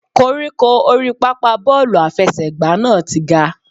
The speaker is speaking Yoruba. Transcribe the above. Koríko orí pápá bọ́ọ̀lù àfẹsẹ̀gbá náà ti ga.